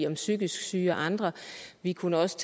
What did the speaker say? om psykisk syge og andre og vi kunne også